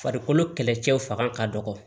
Farikolo kɛlɛcɛw fanga ka dɔgɔ